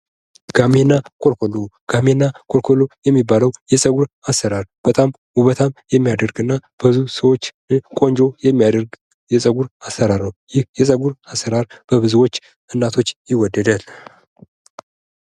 ጋሜና ኮልኮሉ የሚባለው የፀጉር አሰራር በጣም ውበታም የሚያደርግና በብዙ ሰዎች ዘንድ ቆንጆ የሚያደርግ የፀጉር አሰራር ነው ይህ የፀጉር አሰራር በብዞች እናቶች የወደዳል።